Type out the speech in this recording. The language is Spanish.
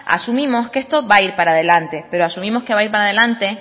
asumimos que estoy va a ir para adelante pero asumimos que va a ir para adelante